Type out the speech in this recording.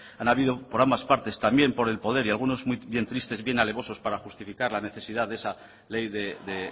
han habido por ambas partes también por el poder y algunos bien tristes y bien alevosos para justificar la necesidad de esa ley de